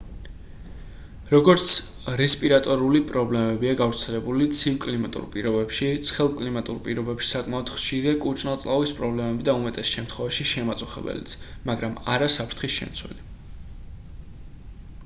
როგორც რესპირატორული პრობლემებია გავრცელებული ცივ კლიმატურ პირობებში ცხელ კლიმატურ პირობებში საკმაოდ ხშირია კუჭ-ნაწლავის პრობლემები და უმეტეს შემთხვევაში შემაწუხებელიც მაგრამ არა საფრთხის შემცველი